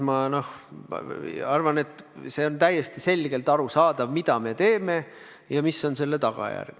Ma arvan, et see on täiesti selgelt arusaadav, mida me teeme ja mis on selle tagajärg.